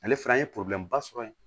Ale fɛnɛ an ye ba sɔrɔ yen